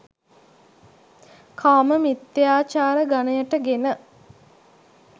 කාම මිථ්‍යාචාර ගණයට ගෙන